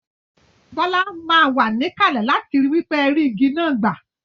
Bola má wa níkàlè láti ri wípé ẹ rí igi náà gbà